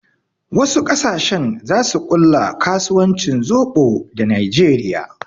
Wasu ƙasashen zasu ƙulla kasuwancin zoɓo da najeriya